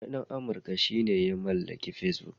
Wani ɗan Amurka shi ya mallaki Facebook.